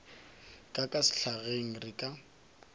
ka ka sehlageng re ka